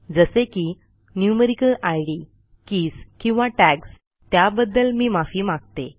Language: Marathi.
जसे की न्यूमेरिकल इद कीज किंवा टॅग्स त्याबद्दल मी माफी मागते